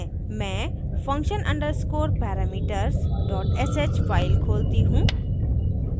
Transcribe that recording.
मैं function _ underscore parameters sh file खोलती हूँ